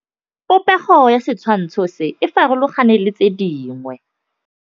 Popêgo ya setshwantshô se, e farologane le tse dingwe.